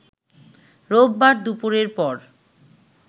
রোববার দুপুরের পর